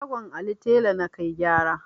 Shagon Ali tela na kai gyara.